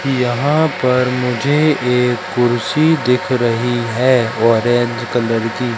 यहां पर मुझे एक कुर्सी दिख रही है ऑरेंज कलर की।